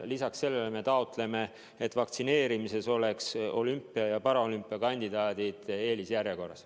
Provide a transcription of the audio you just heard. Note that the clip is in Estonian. Lisaks sellele me taotleme, et vaktsineerimisel oleks olümpia ja paraolümpia kandidaadid eelisjärjekorras.